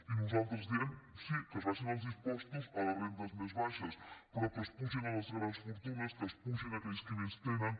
i nosaltres diem sí que s’abaixin els impostors a les rendes més baixes però que s’apugin a les grans fortunes que s’apugin a aquells qui més tenen